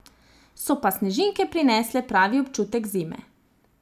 So pa snežinke prinesle pravi občutek zime.